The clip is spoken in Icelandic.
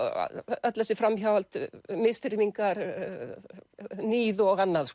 öll þessi framhjáhöld misþyrmingar níð og annað